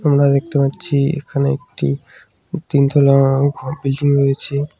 আমরা দেখতে পাচ্ছি এখানে একটি তিনতলা ঘর বিল্ডিং রয়েছে।